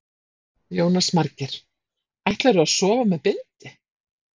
Jónas Margeir: Ætlarðu að sofa með bindi?